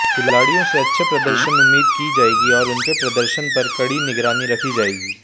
खिलाड़ियों से अच्छे प्रदर्शन उम्मीद की जाएगी और उनके प्रदर्शन पर कड़ी निगरानी रखी जाएगी